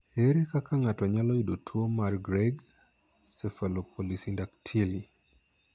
Ere kaka ng'ato nyalo yudo tuo mar Greig cephalopolysyndactyly?